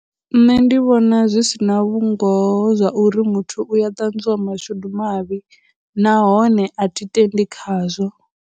Nṋe ndi vhona zwi si na vhungoho zwa uri muthu u ya ṱanzwiwa mashudu mavhi, nahone a thi tendi khazwo.